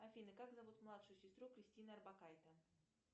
афина как зовут младшую сестру кристины орбакайте